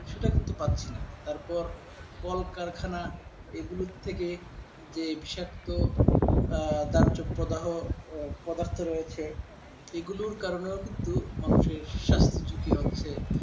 সেটা কিন্তু পাচ্ছি না তারপর কলকারখানা এগুলো থেকে যে বিষাক্ত আহ বাহ্য প্রাধান্য পদার্থ রয়েছে এগুলোর কারণে কিন্তু মানুষ এর স্বাস্থ্য ঝুঁকি হচ্ছে ।